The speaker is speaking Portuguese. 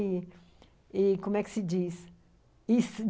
E como é que se diz?